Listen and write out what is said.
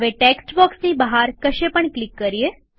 હવે ટેક્સ્ટ બોક્સની બહાર કશે પણ ક્લિક કરીએ